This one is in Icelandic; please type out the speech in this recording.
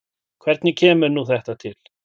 Hvernig kemur nú þetta til?